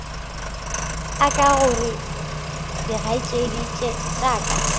aka gore dikgaetšedi tša ka